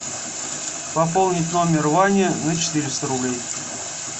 пополнить номер вани на четыреста рублей